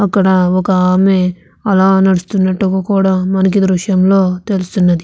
అక్కడ ఒక ఆమె అలా నడుస్తున్నట్టుగా కూడా మనకి దృశ్యంలో తెలుస్తున్నది.